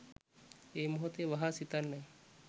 ඒ මොහොතේ වහා සිතන්න.